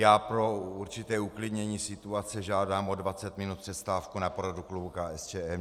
Já pro určité uklidnění situace žádám o 20 minut přestávku na poradu klubu KSČM.